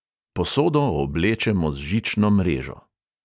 Posodo oblečemo z žično mrežo.